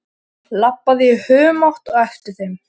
Labbaði í humátt á eftir þeim.